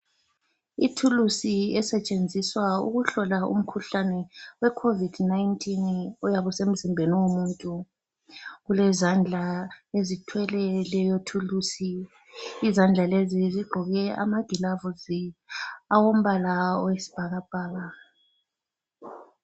Ithulusi esetshenziswa ukuhlola umkhuhlane weCovid 19 oyabe usemzimbeni womuntu. Kulezandla ezithwele leyo thulusi. Izandla lezi zigqoke amagilavusi, awombala oyisibhakabhaka.